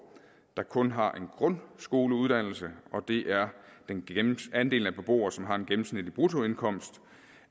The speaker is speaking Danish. der kun har en grundskoleuddannelse og det er andelen af beboere som har en gennemsnitlig bruttoindkomst